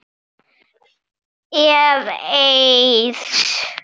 Ef. Eiðs